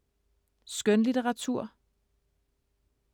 Skønlitteratur